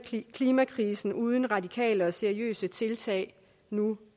klimakrisen uden radikale og seriøse tiltag nu